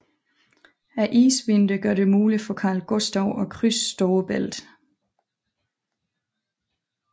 Isvinteren gør det muligt for Karl Gustav at krydse Storebælt